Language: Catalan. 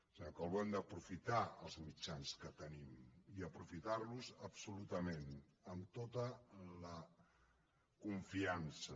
senyor calbó hem d’aprofitar els mitjans que tenim i aprofitar los absolutament amb tota la confiança